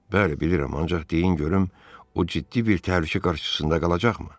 Bəli, bilirəm, ancaq deyin görüm o ciddi bir təhlükə qarşısında qalacaqmı?